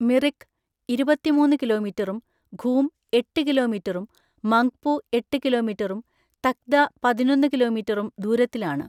മിറിക്ക് ഇരുപത്തിമൂന്ന് കിലോമീറ്ററും, ഘൂം എട്ട് കിലോമീറ്ററും, മംഗ്പു എട്ട് കിലോമീറ്ററും, തക്ദ പതിനൊന്ന് കിലോമീറ്ററും ദൂരത്തിലാണ്.